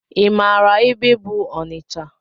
I maara ebe bụ Ọnịcha?